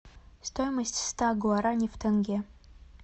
стоимость ста гуарани в тенге